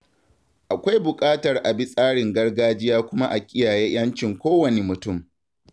Akwai buƙatar a bi tsarin gargajiya kuma a kiyaye 'yancin kowanne mutum.